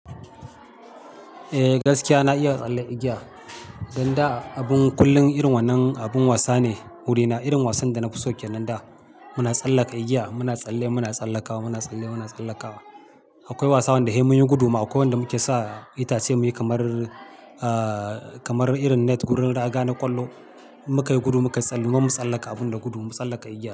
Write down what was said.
Eh gaskiya na iya tsalle igiya, dan da abun kullum irin wannan abun wasa ne wurina. Irin wasan da na fi so kenan da muna tsallaka igiya muna tsalle muna tsallaka muna tsalle muna tsallaka. Akwai wasan da he mun yi gudu ma akwai wanda muke saka itace muyi kamar, ah, kamar irin net wurin raga na ƙwallo muka yi gudu muka tsalle. Ma matsallaka abun da gudu, matsallaka igiya.